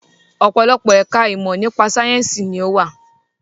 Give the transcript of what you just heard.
Ọ̀pọ̀lọpọ̀ ẹ̀ka ìmọ̀ nípa sayẹ́nsi ni ó wà.